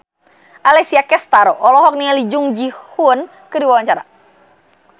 Alessia Cestaro olohok ningali Jung Ji Hoon keur diwawancara